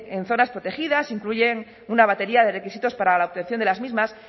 en zonas protegidas incluyen una batería de requisitos para la obtención de las mismas